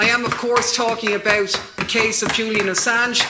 I am, of course, talking about the case of Julian Assange